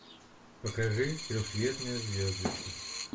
покажи трехцветные звездочки